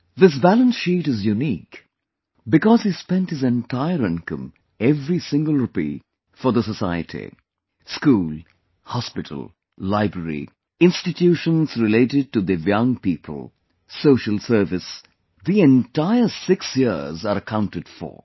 This Balance Sheet is unique because he spent his entire income, every single rupee, for the society School, Hospital, Library, institutions related to disabled people, social service the entire 6 years are accounted for